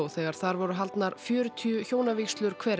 þegar þar voru haldnar fjörutíu hjónavígslur hver